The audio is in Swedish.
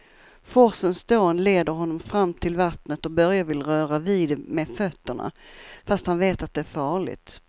Forsens dån leder honom fram till vattnet och Börje vill röra vid det med fötterna, fast han vet att det är farligt.